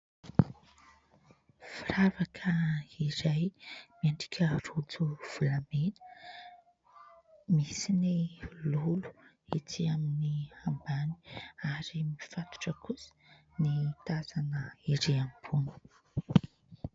Firavaka iray miendrika rojo volamena, misy ny lolo etsy amin'ny ambany ary mifatotra kosa ny tazana erỳ ambony.